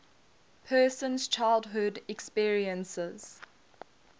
person's childhood experiences